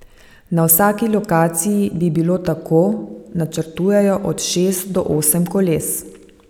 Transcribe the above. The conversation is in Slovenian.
Na vsaki lokaciji bi bilo tako, načrtujejo, od šest do osem koles.